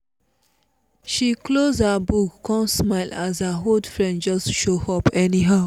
she close her book come smile as her old friend just show up anyhow